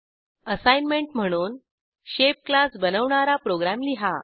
assignment म्हणून shape class बनवणारा programme लिहा